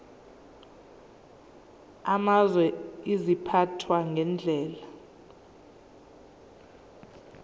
amazwe ziphathwa ngendlela